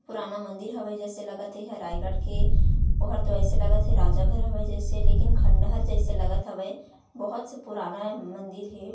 पुराना मन्दिर हवै जैसे लगते थे रायगढ़ के और तो ऐसे लगथे राजा घर हवै जैसे लेकिन खंडहर जैसे लगथ ह वै बहुत से पुराना मन्दिर है।